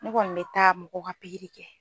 Ne kɔni be taa mɔgɔw ka pigirikɛ